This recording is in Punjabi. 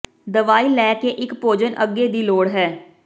ਦਵਾਈ ਲੈ ਕੇ ਇੱਕ ਭੋਜਨ ਅੱਗੇ ਦੀ ਲੋੜ ਹੈ